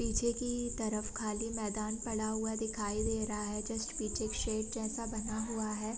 नीचे की तरफ खाली मैदान पड़ा हुआ दिखाई दे रहा है जस्ट पीछे शेर जैसा बना हुआ है।